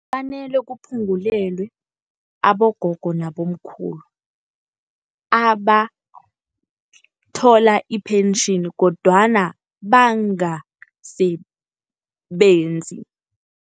Kufanele kuphungulelwe abogogo nabomkhulu abathola ipentjheni kodwana bangasebenzi.